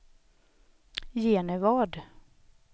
Genevad